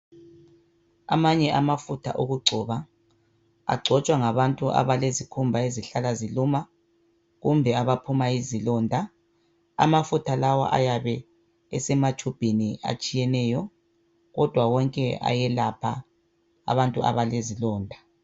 Amanye amafutha okungcoba angcotshwa ngabantu abalezikhumba ezihlala ziluma kumbe abaphuma izilonda. Amafutha lawa ayabe esematshumbini atshiyeneyo kodwa wonke ayelapha abantu abelezilonda.